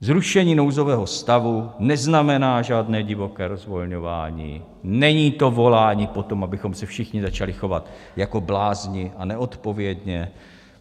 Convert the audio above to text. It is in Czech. Zrušení nouzového stavu neznamená žádné divoké rozvolňování, není to volání po tom, abychom se všichni začali chovat jako blázni a neodpovědně.